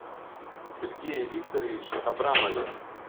сергее викторовиче абрамове